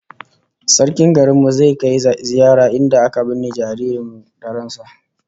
Sarkin garin mu zai kai ziyara inda aka binne jariri da ran sa